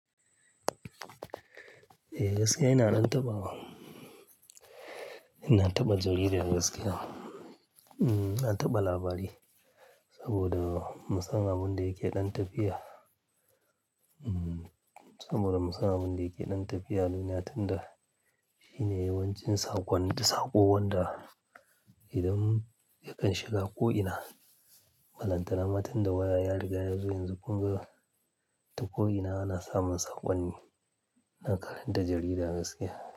Eh, gaskiya ina ɗan taɓa wa. Ina taɓa jarida gaskiya. Mm, na taɓa labari, saboda musan abin da yake ɗan tafiya. Mm, saboda musan abin da yake ɗan tafiya a duniya, tun da shine yawancin saƙon, saƙo, wanda idan yakan shiga ƙo'ina, balanta na ma tun da waya ya riga yazo. Yanzu kuma, toko ina ana samun saƙonni. Na karanta jarida gaskiya.